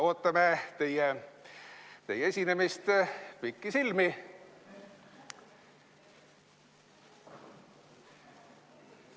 Ootame teie esinemist pikisilmi.